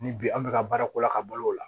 Ni bi an bɛ ka baara ko la ka balo o la